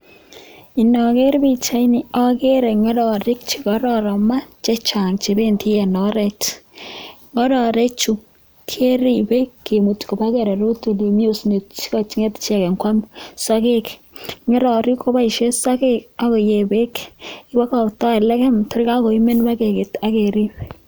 Ageree ngororek chekararanen neeaa chepemdati Eng ngororek ako paisheee sageek anan kopeeek